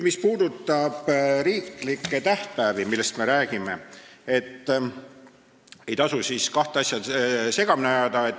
Mis puudutab riiklikke tähtpäevi, millest me räägime, siis ei maksa kahte asja segamini ajada.